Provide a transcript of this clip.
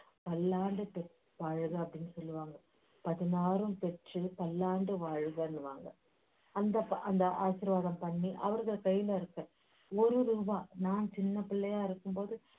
பல்லாண்டு பெ~ வாழுக அப்படீன்னு சொல்லுவாங்க பதினாரும் பெற்றுப் பல்லாண்டு வாழுகன்னுவாங்க அந்த அந்த ஆசீர்வாதம் பண்ணி ஒரு ரூபா நான் சின்னப்பிள்ளையா இருக்கும்போது